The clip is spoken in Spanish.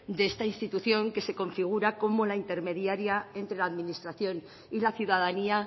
de esta institución que se configura como la intermediaria entre la administración y la ciudadanía